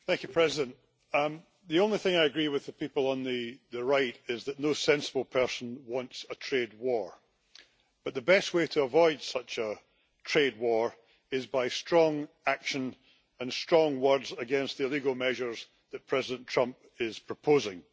Mr President, the only thing I agree on with the people on the right is that no sensible person wants a trade war, but the best way to avoid such a trade war is by strong action and strong words against the illegal measures that President Trump is proposing.